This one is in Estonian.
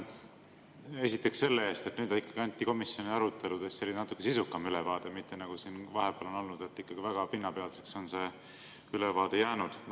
Esiteks selle eest, et nüüd ikkagi anti komisjoni aruteludest natukene sisukam ülevaade, mitte nagu siin vahepeal on olnud, kui see ülevaade on väga pinnapealseks jäänud.